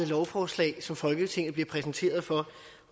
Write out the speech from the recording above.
lovforslag som folketinget bliver præsenteret for